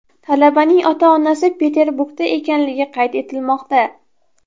Talabaning ota-onasi Peterburgda ekanligi qayd etilmoqda.